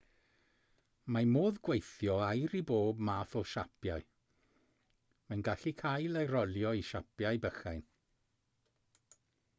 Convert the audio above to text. mae modd gweithio aur i bob math o siapiau mae'n gallu cael ei rolio i siapiau bychain